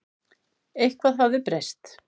Eitthvað hafði breyst.